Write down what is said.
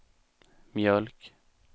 mjölk